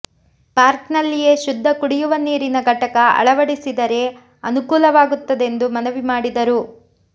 ಪಾರ್ಕ್ನಲ್ಲಿಯೇ ಶುದ್ಧ ಕುಡಿಯುವ ನೀರಿನ ಘಟಕ ಅಳವಡಿಸಿದರೆ ಅನುಕೂಲವಾಗುತ್ತದೆಂದು ಮನವಿ ಮಾಡಿದರು